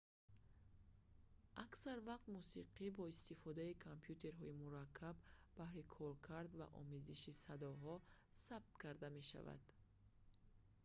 аксар вақт мусиқӣ бо истифодаи компютерҳои мураккаб баҳри коркард ва омезиши садоҳо сабт карда мешавад